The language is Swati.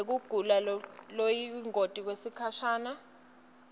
yekugula lokuyingoti kwesikhasha